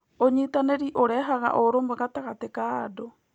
ũnyitanĩri ũrehaga ũrũmwe gatagatĩ ka andũ.